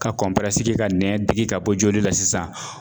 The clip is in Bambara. Ka kɛ ka nɛn digi ka bɔ joli la sisan